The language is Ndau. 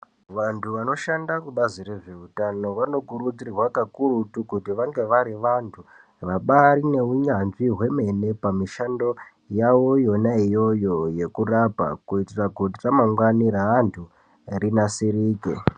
Vantu vanoshanda kubazi rezveutano vanokurudzirwa kakurutu kuti vange vari vantu vane vabari neunyanzvi ukurutu pamishando yavo yona iyoyo yekurapa kuitira ramangwani reantu rinasirike.